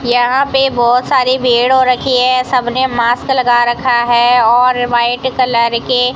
यहां पे बहोत सारी भीड़ हो रखी है सबने मास्क लगा रखा है और व्हाइट कलर के --